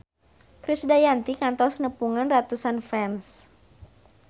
Krisdayanti kantos nepungan ratusan fans